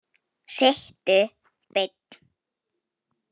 Sittu beinn.